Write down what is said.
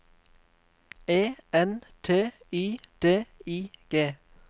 E N T Y D I G